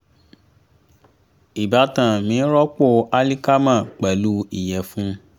ìbátan mi rọpò alíkámà pẹ̀lú ìyẹ̀fun